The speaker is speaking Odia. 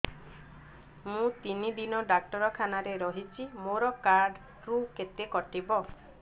ମୁଁ ତିନି ଦିନ ଡାକ୍ତର ଖାନାରେ ରହିଛି ମୋର କାର୍ଡ ରୁ କେତେ କଟିବ